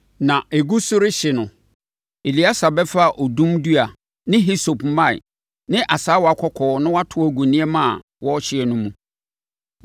Na ɛgu so rehye no, Eleasa bɛfa odum dua ne hisope mman ne asaawa kɔkɔɔ na wato agu nneɛma a wɔrehye no mu.